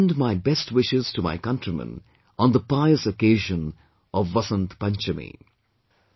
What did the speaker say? I extend my best wishes to my countrymen on the pious occasion of Vasant Panchami